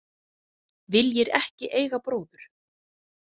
Viljir ekki eiga bróður.